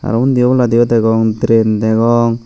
te undi obolandiyo degong train degong.